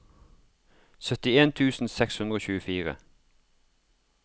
syttien tusen seks hundre og tjuefire